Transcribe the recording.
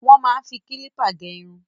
Wọ́n máa ń fi kílípà gẹ irun.